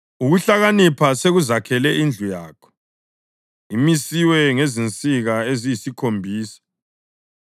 Ukuhlakanipha sekuzakhele indlu yakho, imisiwe ngezinsika eziyisikhombisa.